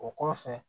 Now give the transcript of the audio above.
O kɔfɛ